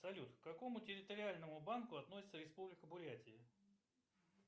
салют к какому территориальному банку относится республика бурятия